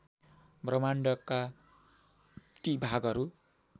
ब्रह्माण्डका ती भागहरू